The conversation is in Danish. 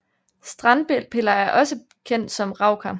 Strandpiller er også kendt som rauker